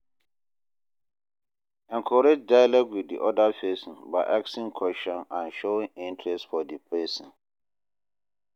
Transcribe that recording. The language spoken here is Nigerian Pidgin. Encourage dialogue with di oda person by asking question and showing interest for di person